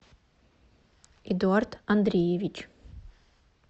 эдуард андреевич